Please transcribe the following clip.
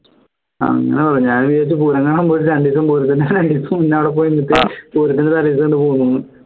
അങ്ങനെ പറ ഞാനും വിചാരിച്ചു പൂരം കാണാൻ പോയിട്ട് രണ്ടസം പൂരത്തിന്റെ അവിടെ പോയി നിന്നിട്ട് പൂരത്തിന്റെ തലേദിവസം ഇങ്ങോട്ട് പോന്നുന്ന്